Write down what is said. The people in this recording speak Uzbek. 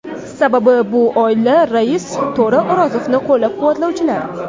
Sababi bu oila rais To‘ra O‘rozovni qo‘llab-quvvatlovchilar.